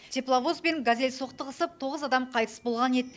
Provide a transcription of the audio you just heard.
тепловоз бен газель соқтығысып тоғыз адам қайтыс болған еді